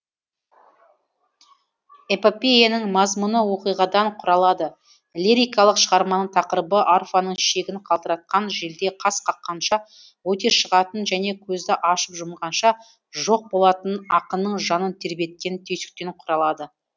эпопеяның мазмұны оқиғадан құралады лирикалық шығарманың тақырыбы арфаның шегін қалтыратқан желдей қас қаққанша өте шығатын және көзді ашып жұмғанша жоқ болатын ақынның жанын тербеткен түйсіктен құралады